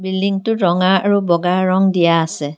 বিল্ডিংটোত ৰঙা আৰু বগা ৰঙ দিয়া আছে।